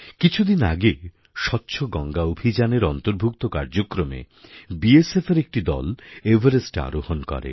কিছুদিন আগে স্বচ্ছ গঙ্গা অভিযানএর অন্তর্ভুক্ত কার্যক্রমে BSFএর একটি দল এভারেস্টএ আরোহন করে